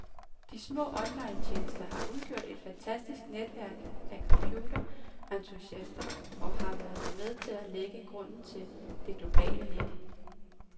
De små onlinetjenester har udgjort et fantastisk netværk af computerentusiaster, og har været med til at lægge grunden til det globale net.